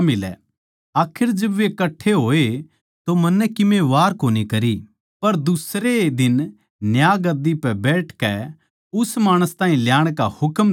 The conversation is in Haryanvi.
आखर जिब वे कट्ठे होए तो मन्नै कीमे वार कोनी करी पर दुसरै ए दिन न्यायगद्दी पै बैठकै उस माणस ताहीं ल्याण का हुकम दिया